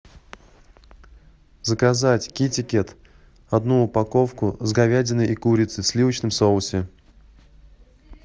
заказать кити кет одну упаковку с говядиной и курицей в сливочном соусе